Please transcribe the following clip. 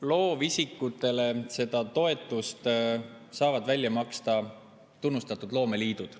Loovisikutele saavad seda toetust välja maksta tunnustatud loomeliidud.